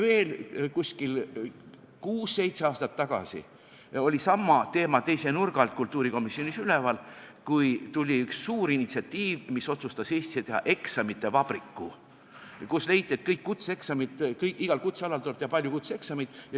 Kuskil kuus-seitse aastat tagasi oli sama teema teise nurga alt kultuurikomisjonis üleval, kui tuli üks suur initsiatiiv, mis otsustas Eestisse teha eksamite vabriku, kus leiti, et igal kutsealal tuleb teha palju kutseeksameid.